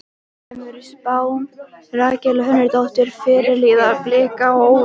Kemur spáin Rakel Hönnudóttur, fyrirliða Blika á óvart?